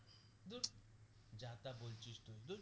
ধুর যা তা বলছিস তু ধুর